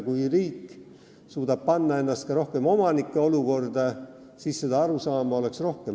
Kui riik suudab panna ennast rohkem omanike olukorda, siis oleks seda arusaama rohkem.